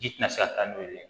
Ji tɛ se ka taa n'olu ye